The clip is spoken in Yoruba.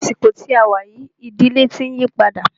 Ní àsìkò tí a wá yìí, ìdílé tí ń yípadà.